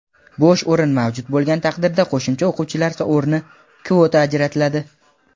bo‘sh o‘rin mavjud bo‘lgan taqdirda qo‘shimcha o‘quvchilar o‘rni (kvota) ajratiladi.